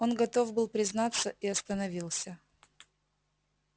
он готов был признаться и остановился